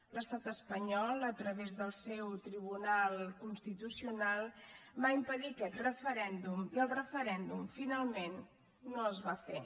l’estat espanyol a través del seu tribunal constitucional va impedir aquest referèndum i el referèndum finalment no es va fer